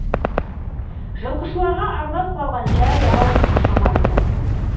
жылқышыларға арнап салған жай ау шамасы